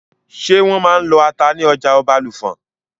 Ṣé wọ́n máa n lọ ata ní ọjà Ọbàlùfọ̀n?